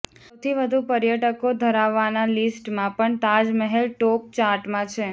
સૌથી વધુ પર્યટકો ધરાવવાના લિસ્ટમાં પણ તાજમહેલ ટોપ ચાર્ટમાં છે